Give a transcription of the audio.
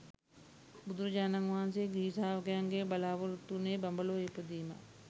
බුදුරජාණන් වහන්සේ ගිහි ශ්‍රාවකයන්ගෙන් බලාපොරොත්තු වුණේ බඹලොව ඉපදීමක්